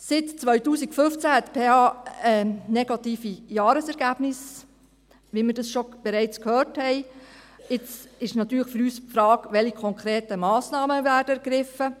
Seit 2015 hat die PH negative Jahresergebnisse, wie wir bereits gehört haben, und jetzt stellt sich natürlich für uns die Frage, welche konkreten Massnahmen ergriffen werden.